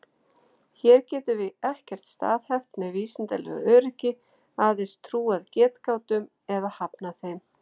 Hér getum við ekkert staðhæft með vísindalegu öryggi, aðeins trúað getgátum eða hafnað þeim.